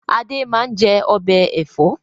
Adé máa ń jẹ ọbẹ̀ Ẹ̀fọ́